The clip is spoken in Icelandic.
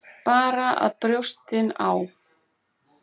Bara að brjóstin á